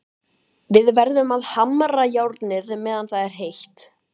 Við verðum að hamra járnið meðan það er heitt.